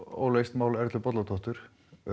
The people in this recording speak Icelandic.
óleyst mál Erlu Bolladóttur